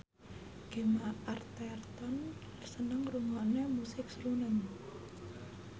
Gemma Arterton seneng ngrungokne musik srunen